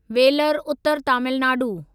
velar उतर तामिलनाडू